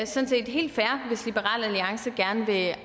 sådan set helt fair hvis liberal alliance gerne vil